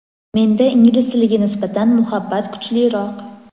Menda ingliz tiliga nisbatan muhabbat kuchliroq.